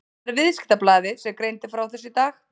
Það er Viðskiptablaðið sem greindi frá þessu í dag.